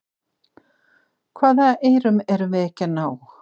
Hvaða eyrum erum við ekki að ná?